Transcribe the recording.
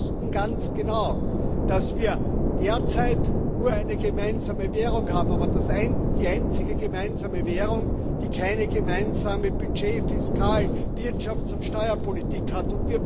Und wir wussten ganz genau, dass wir derzeit nur eine gemeinsame Währung haben, aber die einzige gemeinsame Währung, die keine gemeinsame Budget Fiskal Wirtschafts und Steuerpolitik hat.